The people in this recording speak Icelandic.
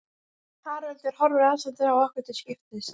Haraldur horfir rannsakandi á okkur til skiptis.